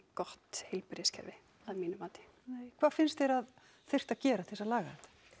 gott heilbrigðiskerfi að mínu mati hvað finnst þér að þyrfti að gera til að laga þetta